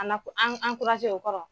A n'a an o kɔrɔ?